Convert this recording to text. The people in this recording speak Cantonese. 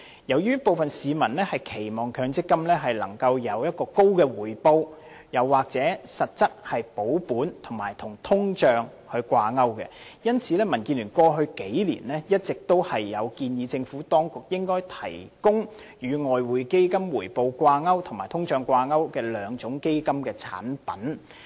由於部分市民期望強積金能夠獲得高回報，又或是實質保本及與通脹掛鈎，故民主建港協進聯盟過去數年一直建議政府當局應該提供與外匯基金回報掛鈎及與通脹掛鈎的兩種基金產品。